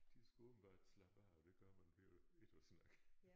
De skulle åbenbart slappe af og det gør man ved at ikke at snakke